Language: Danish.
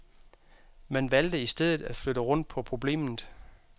Man valgte i stedet at flytte rundt på problemet.